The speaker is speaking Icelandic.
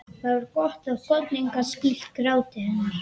Það var gott að koddinn gat skýlt gráti hennar.